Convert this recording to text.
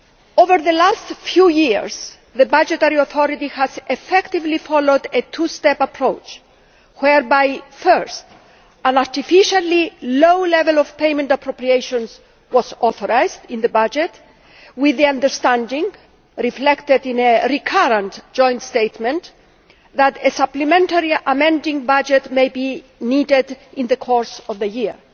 Over the last few years, the budgetary authority has effectively followed a two step approach whereby, first, an artificially low level of payment appropriations was authorised in the budget with the understanding, reflected in a recurrent joint statement, that a supplementary amending budget might be needed in the course of the year